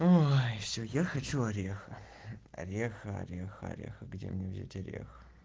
ой все я хочу ореха ореха ореха ореха где мне взять орех